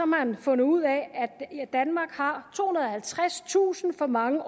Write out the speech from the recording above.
man fundet ud af at danmark har tohundrede og halvtredstusind for mange